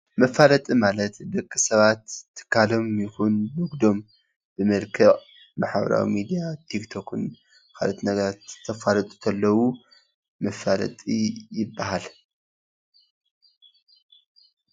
መፋለጢ ማለት ደቂ ሰባት ትካሎም ይኩን ንግዶም ብመልክዕ ማሕበራዊ ሚድያ ቲክቶክን ካልኦት ነገራት ከፋልጡ እንተለዉ መፋለጢ ይባሃል፡፡